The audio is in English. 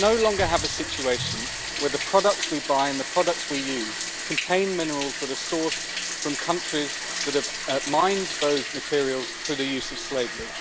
We can no longer have a situation where the products we buy and the products we use contain minerals that are sourced from countries that have mined those materials through the use of slavery.